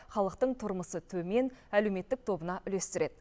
халықтың тұрмысы төмен әлеуметтік тобына үлестіреді